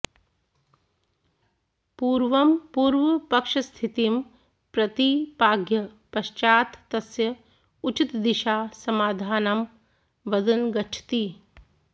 पूर्वं पूर्वपक्षस्थितिं प्रतिपाद्य पश्चात् तस्य उचितदिशा समाधानं वदन् गच्छति